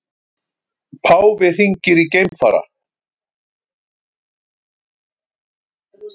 Páfi hringir í geimfara